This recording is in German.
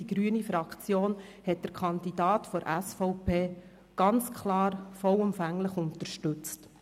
Die grüne Fraktion hat den Kandidaten der SVP ganz klar vollumfänglich unterstützt.